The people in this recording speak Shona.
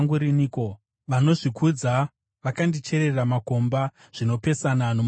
Vanozvikudza vakandicherera makomba, zvinopesana nomurayiro wenyu.